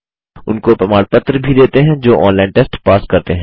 उनको प्रमाण पत्र भी देते हैं जो ऑनलाइन टेस्ट पास करते हैं